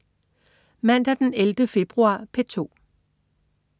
Mandag den 11. februar - P2: